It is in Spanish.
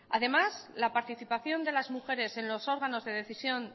además la participación de las mujeres en los órganos de decisión